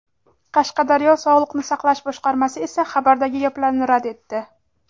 Qashqadaryo sog‘liqni saqlash boshqarmasi esa xabardagi gaplarni rad etdi .